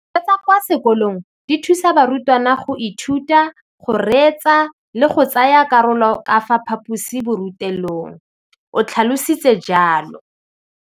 Dijo tsa kwa sekolong dithusa barutwana go ithuta, go reetsa le go tsaya karolo ka fa phaposiborutelong, o tlhalositse jalo.